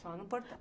Só no portão.